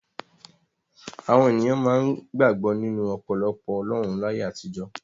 Àwọn ènìyàn máa ń gbàgbọ́ nínú ọ̀pọ̀lọpọ̀ ọlọ́run láyé àtijọ́.